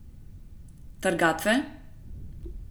Trgatve?